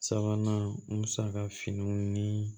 Sabanan musaka fana ni